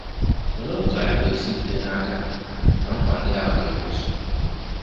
Olee otú anyị ga-esi jide n'aka na nkwa ndị ahụ ga-emezu?